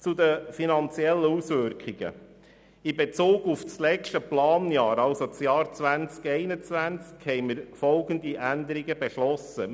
Zu den finanziellen Auswirkungen: In Bezug auf das letzte Planjahr, also das Jahr 2021, haben wir folgende Änderungen beschlossen: